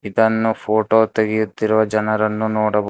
ಇದನ್ನು ಫೋಟೋ ತೆಗೆಯುತ್ತಿರುವ ಜನರನ್ನು ನೋಡ--